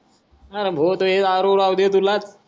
अरे दारू राहूदे तुलात